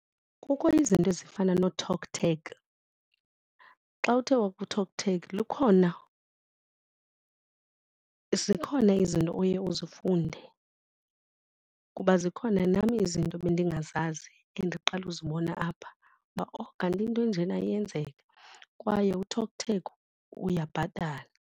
Kukho izinto ezifana nooTalk Tag. Xa uthe wakuTalk Tag lukhona zikhona izinto oye uzifunde kuba zikhona nam izinto ebendingazazi endiqala uzibona apha uba oh kanti into enjena iyenzeka, kwaye uTalk Tag uyabhatala.